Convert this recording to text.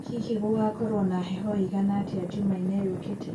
hĩhĩ gugakorwo na heho iigana atĩa jumaĩne yukite